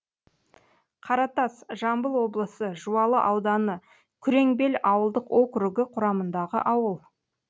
қаратас жамбыл облысы жуалы ауданы күреңбел ауылдық округі құрамындағы ауыл